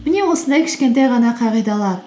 міне осындай кішкентай ғана қағидалар